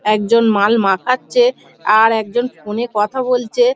একজন মাল মাখাচ্ছে আর একজন ফোনে কথা বলছে।